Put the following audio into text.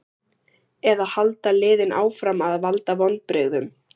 Eða halda liðin áfram að valda vonbrigðum?